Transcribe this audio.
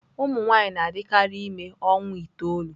Ụmụ nwanyị na-adịkarị ime ọnwa itoolu.